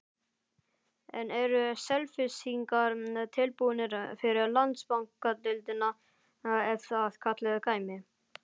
En eru Selfyssingar tilbúnir fyrir Landsbankadeildina ef að kallið kæmi?